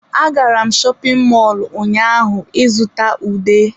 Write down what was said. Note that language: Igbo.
Agara m shopin mọlụ ụnyaahụ ịzụta ude.